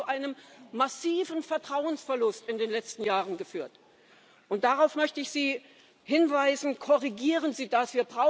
Das hat zu einem massiven Vertrauensverlust in den letzten Jahren geführt. Und darauf möchte ich Sie hinweisen Korrigieren Sie das!